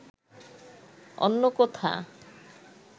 অন্য কোথা